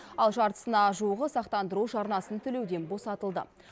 ал жартысына жуығы сақтандыру жарнасын төлеуден босатылды